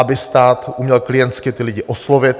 Aby stát uměl klientsky ty lidi oslovit.